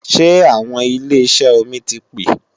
Ṣé àwọn ilé ìṣẹ́ omi ti pè